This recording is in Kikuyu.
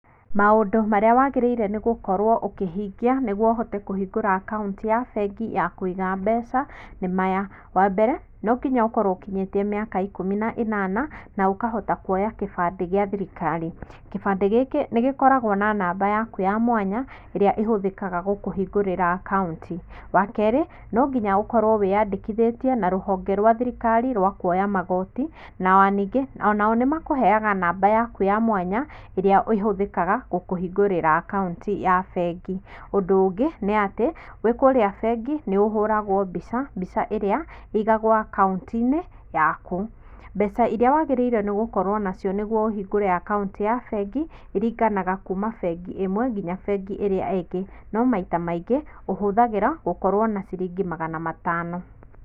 Maũndũ marĩa wagĩrĩire gũkorwo ũkĩhingia nĩguo ũhote kũhingũra account ya bengi ya kũiga mbeca ni maya: wa mbere nonginya ũkorwo ũkinyĩtie mĩaka ikũmi na ĩnana na ũkahota kũoya kĩbandĩ gĩa thirikari. Kĩbandĩ gĩkĩ nĩgĩkoragwo na namba yaku ya mwanya ĩrĩa ĩhũthĩkaga gũkũhingũrĩra account. Wa keerĩ, nonginya ũkorwo wĩyandĩkithĩtie na rũhonge rwa thirikari rwa kũoya magooti, na o ningĩ onao nĩmakũheaga namba yaku ya mwanya ĩrĩa ĩhũthĩkaga gũkũhingũrĩra account ya bengi. Ũndũ ũngĩ nĩ atĩ wĩ kũrĩa bengi nĩũhũragwo mbica, mbica ĩrĩa ĩigagwo account-inĩ yaku. Mbeca iria wagĩrĩire gũkorwo nacio nĩguo ũhingũre account ya bengi iringanaga kuuma bengi ĩmwe nginya bengi ĩrĩa ĩngĩ no maita maingĩ ũhũthagĩra gũkorwo na ciringi magana matano.